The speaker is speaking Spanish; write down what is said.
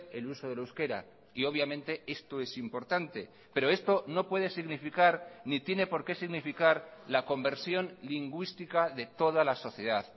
el uso del euskera y obviamente esto es importante pero esto no puede significar ni tiene por qué significar la conversión lingüística de toda la sociedad